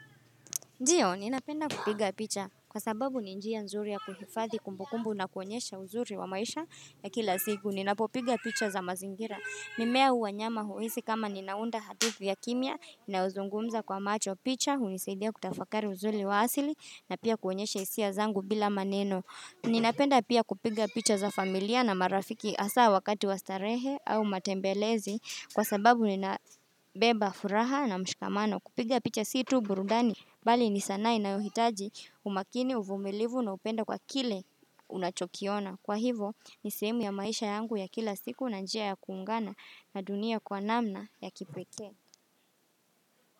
Ndiyo, ninapenda kupiga picha kwa sababu ni njia nzuri ya kuhifadhi kumbukumbu na kuonyesha uzuri wa maisha ya kila siku. Ninapopiga picha za mazingira. Mimea au wanyama huhisi kama ninaunda hatifu ya kimya, inayozungumza kwa macho. Picha hunisaidia kutafakari uzuri wa asili na pia kuonyesha hisia zangu bila maneno. Ninapenda pia kupiga picha za familia na marafiki hasa wakati wa starehe au matembelezi kwa sababu ninabeba furaha na mshikamano. Kupiga picha si tu burudani. Bali ni sanaa inayohitaji umakini uvumilivu na upendo kwa kile unachokiona. Kwa hivo ni sehemu ya maisha yangu ya kila siku na njia ya kuungana na dunia kwa namna ya kipekee.